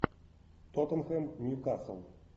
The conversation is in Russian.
тоттенхэм ньюкасл